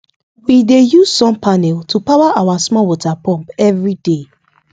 we dey use sun panel to power our small water pump every day